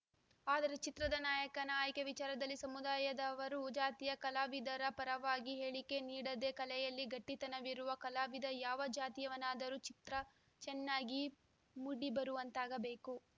ಆದರೆ ಚಿತ್ರದ ನಾಯಕನ ಆಯ್ಕೆ ವಿಚಾರದಲ್ಲಿ ಸಮುದಾಯದವರು ಜಾತಿಯ ಕಲಾವಿದರ ಪರವಾಗಿ ಹೇಳಿಕೆ ನೀಡದೆ ಕಲೆಯಲ್ಲಿ ಗಟ್ಟಿತನವಿರುವ ಕಲಾವಿದ ಯಾವ ಜಾತಿಯವನಾದರೂ ಚಿತ್ರ ಚನ್ನಾಗಿ ಮೂಡಿಬರುವಂತಾಗಬೇಕು